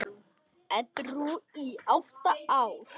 Edrú í átta ár!